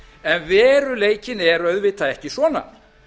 en veruleikinn er auðvitað ekki svona